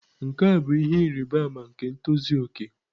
Nke a bụ ihe ịrịba ama nke ntozu okè.